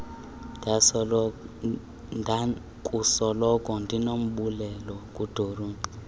ndakusoloko ndinombulelo kudoreen